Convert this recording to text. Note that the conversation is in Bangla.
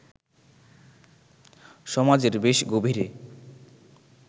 সমাজের বেশ গভীরে